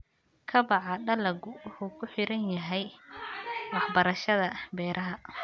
Kobaca dalaggu wuxuu ku xiran yahay waxbarashada beeraha.